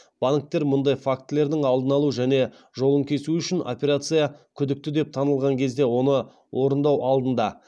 банктер мұндай фактілердің алдын алу және жолын кесу үшін операция күдікті деп танылған кезде оны орындау алдында